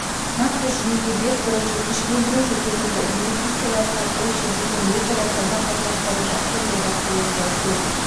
нақты жүйеге бет бұрып жекешелендіру жүргізілді инвестициялар тартылып шетелдерден өзара сауда қатынастары жақсы жолға қойылды төл